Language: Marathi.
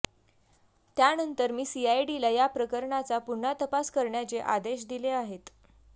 त्यानंतर मी सीआयडीला या प्रकरणाचा पुन्हा तपास करण्याचे आदेश दिले आहेत